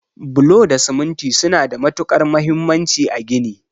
Bulo da siminti suna da matukar muhimmanci a gini.